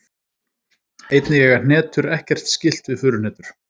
Einnig eiga hnetur ekkert skylt við furuhnetur.